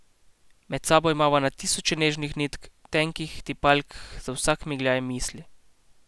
Med sabo imava na tisoče nežnih nitk, tenkih tipalk za vsak migljaj misli.